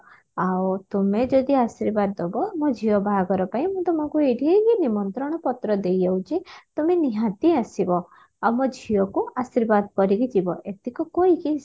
ଆଉ ତୁମେ ଯଦି ଆଶୀର୍ବାଦ ଦବ ମୋ ଝିଅ ବାହାଘର ପାଇଁ ମୁଁ ତମକୁ ଏଇଠି ହିଁ ନିମନ୍ତ୍ରଣ ପତ୍ର ଦେଇଯାଉଛି ତମେ ନିହାତି ଆସିବ ଆଉ ମୋ ଝିଅକୁ ଆଶୀର୍ବାଦ କରିକି ଯିବ ଏତିକ କହିକି